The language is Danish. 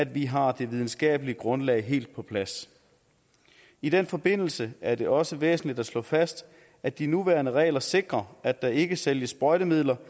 vi har det videnskabelige grundlag helt på plads i den forbindelse er det også væsentligt at slå fast at de nuværende regler sikrer at der ikke sælges sprøjtemidler